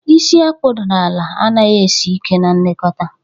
isi a kpụdara ala anaghị esi ike na nlekọta.